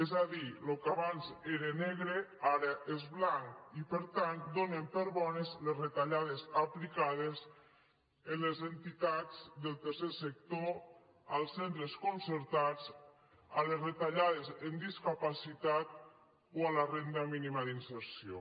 és a dir el que abans era negre ara és blanc i per tant donen per bones les retallades aplicades a les entitats del tercer sector als centres concertats a les retallades en discapacitat o a la renda mínima d’inserció